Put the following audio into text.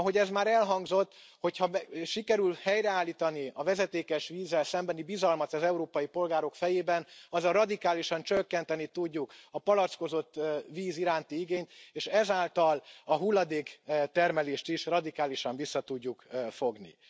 Ahogy ez már elhangzott, hogy ha sikerült helyreállítani a vezetékes vízzel szembeni bizalmat az európai polgárok fejében, azzal radikálisan csökkenteni tudjuk a palackozott víz iránti igényt, és ezáltal a hulladéktermelést is radikálisan vissza tudjuk fogni.